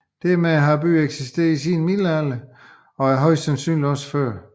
Dermed har byen eksisteret siden middelalderen og højst sandsynligt også før